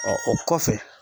o kɔfɛ.